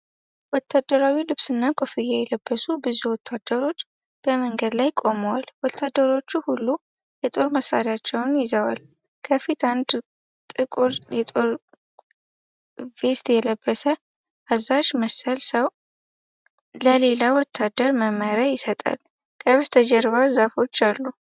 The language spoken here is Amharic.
ወታደራዊ ልብስና ኮፍያ የለበሱ ብዙ ወታደሮች በመንገድ ላይ ቆመዋል። ወታደሮቹ ሁሉ የጦር መሣሪያዎችን ይዘዋል። ከፊት አንድ ጥቁር የጦር ቬስት የለበሰ አዛዥ መሰል ሰው ለሌላ ወታደር መመሪያ ይሰጣል። ከበስተጀርባ ዛፎች አሉ።